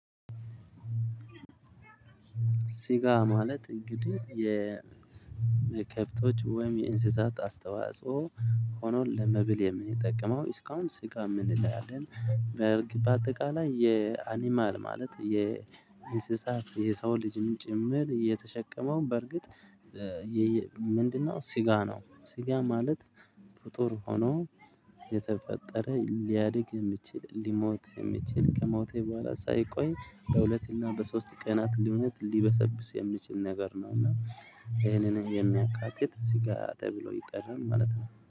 ሲጋ ማለት እንግዲህ የመከፍቶች ወይም የእንስሳት አስተዋጽኦ ሆኖ ለመብል የምንጠቀመው እስካሁን ስጋ የምንለያለን በእርግጥ በአጠቃላይ የአኒማል ማለት የኢንሰሳት የሰው ልጅም ጭምር የተሸከመውን በርግጥ ምንድነው ሲጋ ነው ሲጋ ማለት ፍጡር ሆኖ የተፈጠረ ሊያድግ የሚችል ሊሞት የሚችል ከሞቴ በኋላ ሳይቆይ በሁለትና በሶስት ቀናት ልሞት ሊበሰብስ የሚችል ነገር ነው እና ይሄንን የሚያካትት ስጋ ተብሎ ይጠራል ማለት ነው።